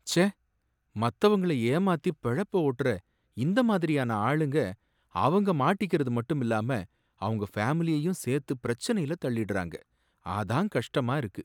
ச்சே! மத்தவங்கள ஏமாத்தி பிழப்ப ஓட்டுற இந்த மாதிரியான ஆளுங்க அவங்க மாட்டிக்கறது மட்டும் இல்லாம அவங்க ஃபேமிலியையும் சேர்த்து பிரச்சனையில தள்ளிடுறாங்க, அதான் கஷ்டமா இருக்கு